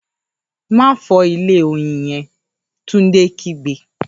‘Má fò̩ó̩ ilé oyin ye̩n!’, Túndé kígbe